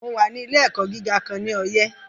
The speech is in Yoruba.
Mo wà ní ilé - ẹ̀kọ́ gíga kan ní Ọyẹ́